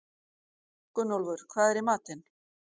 Gunnólfur, hvað er í matinn?